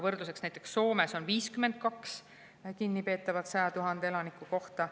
Võrdluseks: näiteks Soomes on 52 kinnipeetavat 100 000 elaniku kohta.